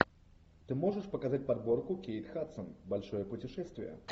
ты можешь показать подборку кейт хадсон большое путешествие